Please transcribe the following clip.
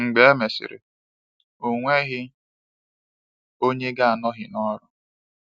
Mgbe e mesịrị, ọ nweghị onye ga-anọghị n’ọrụ.